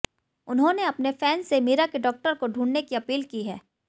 उन्होंने अपने फैन्स से मीरा के डॉक्टर को ढूंढने की अपील की है